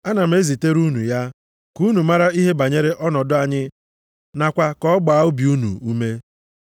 Ana m ezitere unu ya, ka unu mara ihe banyere ọnọdụ anyị nakwa ka ọ gbaa obi unu ume.